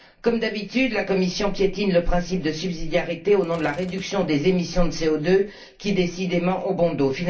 Comme d'habitude, la Commission piétine le principe de subsidiarité au nom de la réduction des émissions de CO2 qui, décidément, ont bon dos.